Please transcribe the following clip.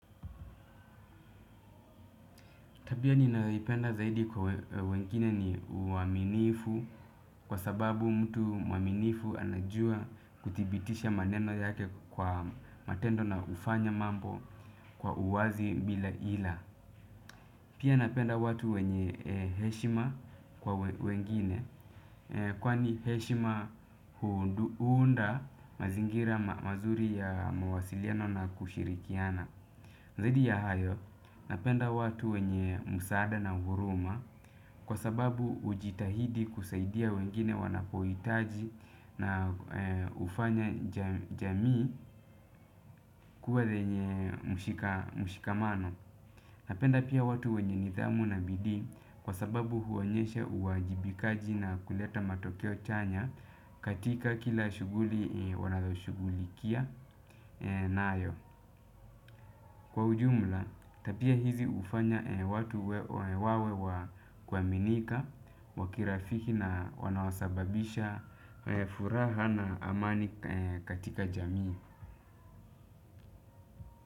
Tabia ninayoipenda zaidi kwa wengine ni uaminifu kwa sababu mtu mwaminifu anajua kudhibitisha maneno yake kwa matendo na hufanya mambo kwa uwazi bila ila. Pia napenda watu wenye heshima kwa wengine kwani heshima huunda mazingira mazuri ya mawasiliano na kushirikiana. Zaidi ya hayo, napenda watu wenye msaada na huruma kwa sababu hujitahidi kusaidia wengine wanapohitaji na hufanya jamii kuwa lenye mshikamano. Napenda pia watu wenye nidhamu na bidii kwa sababu huonyesha uwajibikaji na kuleta matokeo chanya katika kila shughuli wanazoshugulikia nayo. Kwa ujumla, tabia hizi hufanya watu wawe wa kuaminika, wakirafiki na wanaosababisha furaha na amani katika jamii.